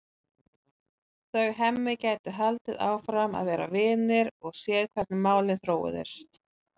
Þau Hemmi gætu haldið áfram að vera vinir og séð hvernig málin þróuðust.